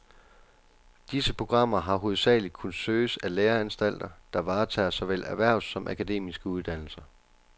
Disse programmer har hovedsageligt kunnet søges af læreanstalter, der varetager såvel erhvervs- som akademiske uddannelser.